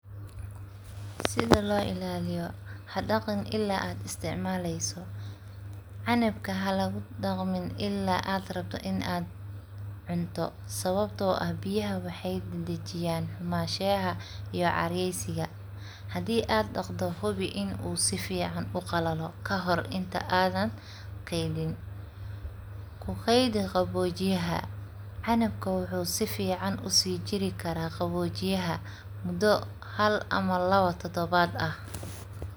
Sida loo ilaliyo, hadagin ila aad isticmaleyso, canabka halagudagin ila aad rabto in aad cunto, sawabto ah biyaha wax dadajiyan xumashiyaxa iyo caryesiga, hadhi aad daqdo hubii inu suficaan uu uqalalo, kahor inti adhan keedin, kukeydi qawojiyaha, canabka wuxu sufican usijirikara qawojiyaxa mudo hal ama lawo tadawat ah.